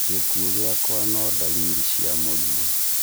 Gĩkuo gĩakwa no ndariri cia mũrimũ